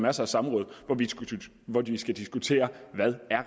masser af samråd hvor vi skal diskutere hvad